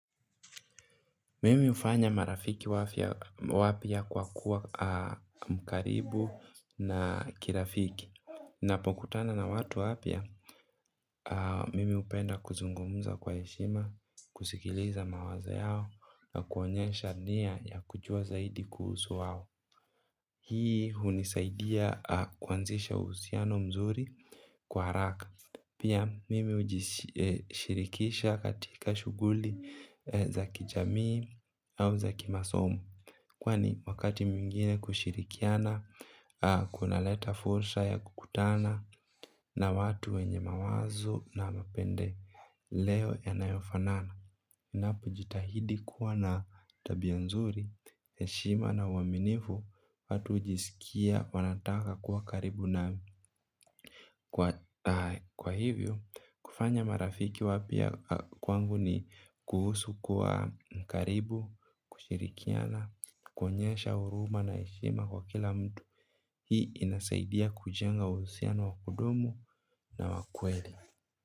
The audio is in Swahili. Mimi hufanya marafiki wapya kwa kuwa mkaribu na kirafiki. Napokutana na watu wapya, mimi hupenda kuzungumza kwa heshima, kusikiliza mawazo yao, na kuonyesha nia ya kujua zaidi kuhusu wao. Hii hunisaidia kuanzisha uhusiano mzuri kwa haraka. Pia mimi ujishirikisha katika shuguli za kijamii au za kimasomo kwani wakati mwingine kushirikiana kunaleta fursa ya kukutana na watu wenye mawazo na mapendeleo yanayo fanana. Napojitahidi kuwa na tabia nzuri, heshima na uaminifu watu hujisikia wanataka kuwa karibu na kwa hivyo. Kufanya marafiki wapya kwangu ni kuhusu kuwa mkaribu, kushirikiana, kuonyesha huruma na heshima kwa kila mtu. Hii inasaidia kujenga uhusiano wa kudumu na wa kweli.